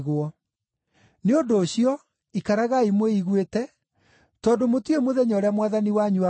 “Nĩ ũndũ ũcio, ikaragai mwĩiguĩte, tondũ mũtiũĩ mũthenya ũrĩa Mwathani wanyu agooka.